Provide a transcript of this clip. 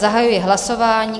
Zahajuji hlasování.